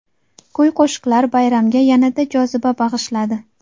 Kuy-qo‘shiqlar bayramga yanada joziba bag‘ishladi.